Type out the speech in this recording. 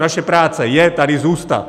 Naše práce je tady zůstat.